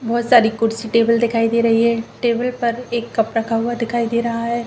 बहुत सारे कुर्सी टेबल दिखाई दे रही है टेबल पर एक कप रखा हुआ दिखाई दे रहा है।